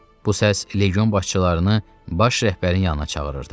Bu səs legion başçılarını baş rəhbərin yanına çağırırdı.